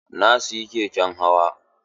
Na siyi keken hawa.